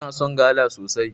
Ina son gala sosai.